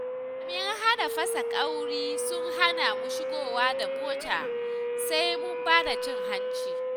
Jami'an Hana Fasa Ƙauri sun hana mu shigowa da motar sai mun ba da cin hanci.